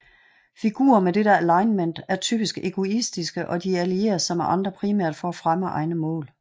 Figurer med dette alignment er typisk egoistiske og de allierer sig med andre primært for at fremme egne mål